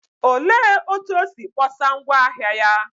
Olee otú o si kpọsa ngwá ahịa ya?